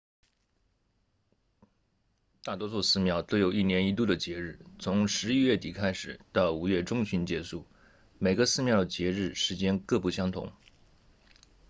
大多数寺庙都有一年一度的节日从十一月底开始到五月中旬结束每个寺庙的节日时间各不相同